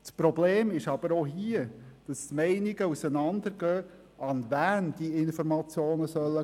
Das Problem ist aber hier, dass die Meinungen im Punkt auseinander gehen, an wen diese Informationen gehen sollen.